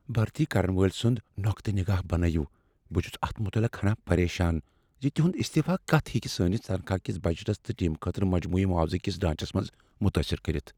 بھرتی كرن وٲلۍ سُند نوقتیہ نِگاہ بنٲوِو ،بہٕ چُھس اتھ متعلق ہنا پریشان ز تہنٛد استعفہٕ کتھہٕ ہیٚکہ سٲنِس تنخواہ ِکس بجٹس تہٕ ٹیم خٲطرٕ مجموعی معاوضہٕ ِكِس ڈھانچس متٲثر کٔرتھ ۔